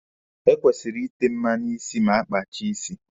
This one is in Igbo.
E kwesịrị ịte mmanụ isi ma a kpachaa isi.